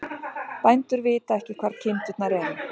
Bændur vita ekki hvar kindurnar eru